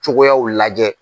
Cogoyaw lajɛ.